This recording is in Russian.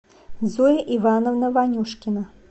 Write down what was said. зоя ивановна ванюшкина